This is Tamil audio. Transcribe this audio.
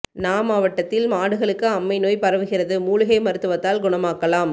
ண மாவட்டத்தில் மாடுகளுக்கு அம்மை நோய் பரவுகிறது மூலிகை மருத்துவத்தால் குணமாக்கலாம்